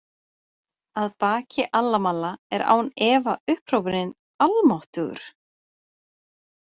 Að baki alla malla er án efa upphrópunin almáttugur.